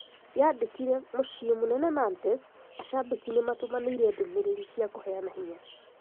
Yandĩkire:"Mũciĩ mũnene Nantes ,ashambiki nĩmatũmanĩire ndũmĩrĩri cia kũbeana binya".